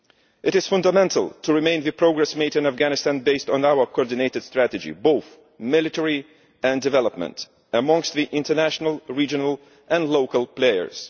It is fundamental to retain the progress made in Afghanistan based on our coordinated strategy, both military and developmental, among the international, regional and local players.